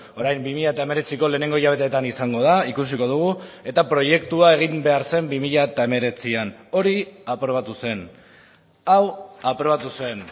orain bi mila hemeretziko lehenengo hilabetetan izango da ikusiko dugu eta proiektua egin behar zen bi mila hemeretzian hori aprobatu zen hau aprobatu zen